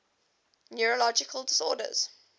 neurological disorders